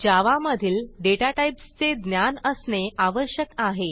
जावा मधील डेटा टाईप्सचे ज्ञान असणे आवश्यक आहे